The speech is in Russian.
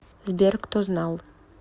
сбер кто знал